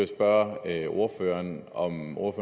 spørge ordføreren